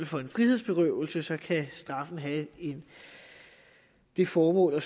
for en frihedsberøvelse kan straffen have det formål at